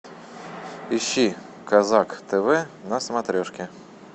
ищи казак тв на смотрешке